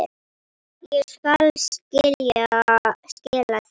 Ég skal skila því.